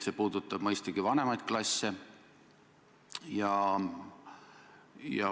See puudutab mõistagi vanemaid klasse.